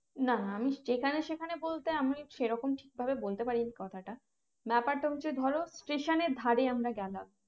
না আমি যেখানে সেখানে বলতে আমি সেরকম ঠিক ভাবে বলতে পারি নি কথাটা ব্যাপারটা হচ্ছে ধরো Station এর ধরে আমরা গেলাম